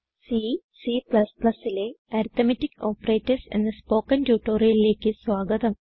C Cലെ arithmetic operators എന്ന spoken ട്യൂട്ടോറിയലിലേക്ക് സ്വാഗതം